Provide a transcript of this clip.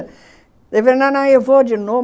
Ele falou, não, não, eu vou de novo.